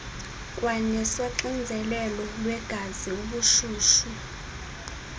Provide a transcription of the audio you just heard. kwanesoxinzelelo lwegazi ubushushu